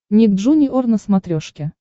ник джуниор на смотрешке